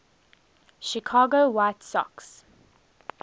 chicago white sox